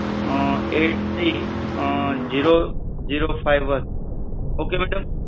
eight three zero zero five one, okay madam?